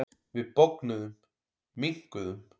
Við bognuðum, minnkuðum.